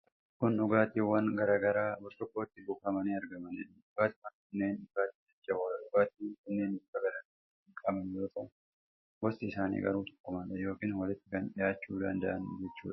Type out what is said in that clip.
Kun dhugaatiwwan garaa garaa burcuqqootti buufamanii argamanidha. Dhugaatiwwan kunneen dhugaatii jajjaboodha. Dhugaatiwwan kunneen bifa garaa garaa kan qaban yoo ta'u, gosti isaanii garuu tokkumadha, yookiiin walitti kan dhiyaachuu danda'ani jechuudha.